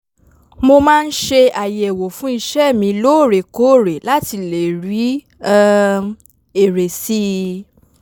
mo máa ń ṣe àyẹ̀wò fún iṣẹ́ mi lóòrèkóòre láti lè rí um èrè sí i